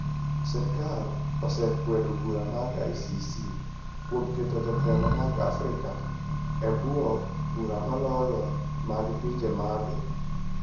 Sirkal osekwedo bura mar ICC kuom keto jotelo mag Afrika e bwo bura moloyo mag pinje mag Ulaya.